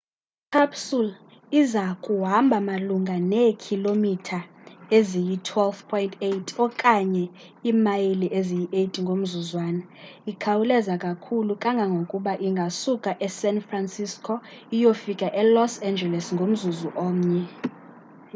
i-capsule iza kuhamba malunga neekhilomitha eziyi-12.8 okanye imayile eziyi-8 ngomzuzwana ikhawuleza kakhulu kangangokuba ingasuka esan francisco iyofika elos angeles ngomzuzu omnye